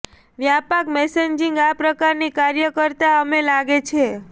વ્યાપક મેસેજિંગ આ પ્રકારની કાર્યો કરતાં અમે લાગે છે